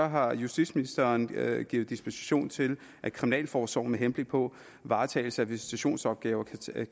har justitsministeren givet dispensation til at kriminalforsorgen med henblik på varetagelse af visitationsopgaver kan tage